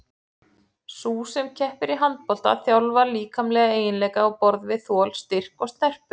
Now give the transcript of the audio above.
Sú sem keppir í handbolta þjálfar líkamlega eiginleika á borð við þol, styrk og snerpu.